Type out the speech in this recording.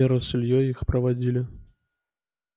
вера с ильёй их проводили